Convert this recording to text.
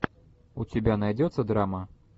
у тебя найдется драма